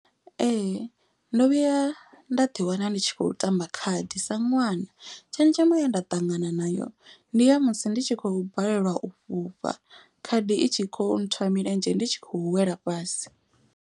Ee ndo vhuya nda ḓi wana ndi tshi khou tamba khadi sa ṅwana. Tshenzhemo ye nda ṱangana nayo ndi ya musi ndi tshi khou balelwa u fhufha. Khadi i tshi kho nthwa milenzhe ndi tshi khou wela fhasi.